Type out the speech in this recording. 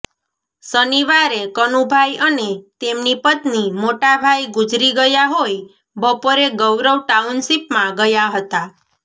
શનિવારે કનુભાઇ અને તેમની પત્ની મોટાભાઇ ગુજરી ગયા હોઇ બપોરે ગૌરવ ટાઉનશીપમાં ગયા હતા